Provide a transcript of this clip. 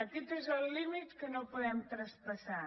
aquest és el límit que no podem traspassar